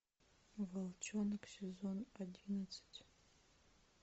волчонок сезон одиннадцать